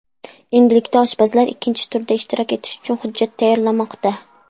Endilikda oshpazlar ikkinchi turda ishtirok etish uchun hujjat tayyorlamoqda.